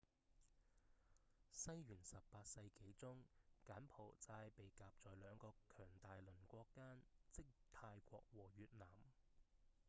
西元18世紀中柬埔寨被夾在兩個強大鄰國間即泰國和越南